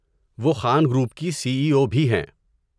وہ خان گروپ کی C E O بھی ہیں۔